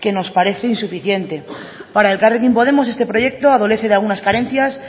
que nos parece insuficiente para elkarrekin podemos este proyecto adolece de algunas carencias